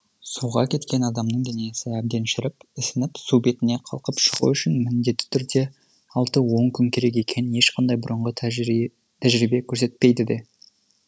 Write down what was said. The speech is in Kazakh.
суға кеткен адамның денесі әбден шіріп ісініп су бетіне қалқып шығу үшін міндетті түрде алты он күн керек екенін ешқандай бұрынғы тәжірибе көрсетпейді де